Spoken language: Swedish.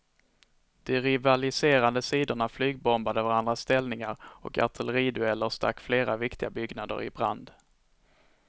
De rivaliserande sidorna flygbombade varandras ställningar och artilleridueller stack flera viktiga byggnader i brand.